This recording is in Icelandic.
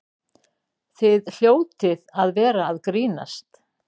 Þið hljótið að vera að grínast!